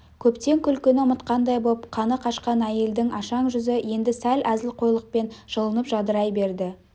көптен күлкіні ұмытқандай боп қаны қашқан әйелдің ашаң жүзі енді сәл әзілқойлықпен жылынып жадырай берді